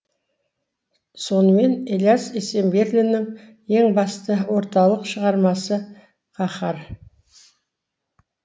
сонымен ілияс есенберлиннің ең басты орталық шығармасы қаһар